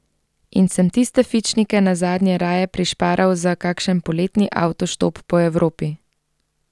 In sem tiste fičnike nazadnje raje prišparal za kakšen poletni avtoštop po Evropi.